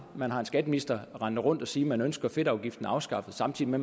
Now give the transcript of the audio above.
man har en skatteminister rendende rundt og sige at man ønsker fedtafgiften afskaffet samtidig med